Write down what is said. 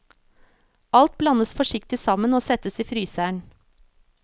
Alt blandes forsiktig sammen og settes i fryseren.